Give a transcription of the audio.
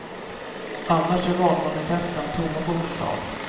Annars är valmanifesten tomma på förslag.